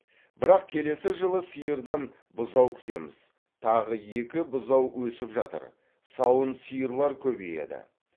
бірақ келесі жылы сиырдан бұзау күтеміз тағы екі бұзау өсіп жатыр сауын сиырлар көбейеді